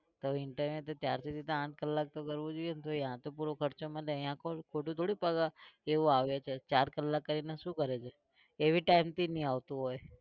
તો interview ચારથી તો આઠ કલાક તો કરવું જોઈએ તો ત્યાં તો પૂરો ખર્ચો મળે ત્યાં કોણ ખોટું થોડી પગાર એવો આવે છે ચાર કલાક કરીને શું કરે છે એ भीtime થી નહીં આવતો હોય.